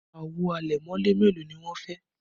Àwo àlẹ̀mọ́lẹ̀ mélòó ni wọn fẹ́?